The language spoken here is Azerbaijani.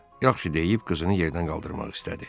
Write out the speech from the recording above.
Yaxşı, deyib qızını yerdən qaldırmaq istədi.